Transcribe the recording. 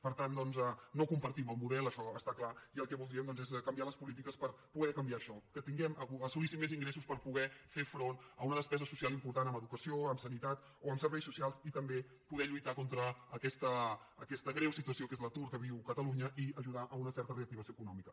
per tant doncs no compartim el model això està clar i el que voldríem doncs és canviar les polítiques per poder canviar això que tinguem que assolíssim més ingressos per poder fer front a una despesa social im·portant en educació en sanitat o en serveis socials i també poder lluitar contra aquesta greu situació que és l’atur que viu catalunya i ajudar a una certa reactiva·ció econòmica